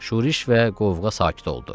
Şurş və qovğa sakit oldu.